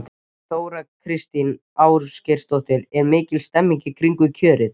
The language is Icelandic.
Þóra Kristín Ásgeirsdóttir: Er mikil stemning í kringum kjörið?